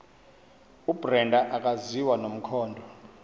ubrenda akaziwa nomkhondo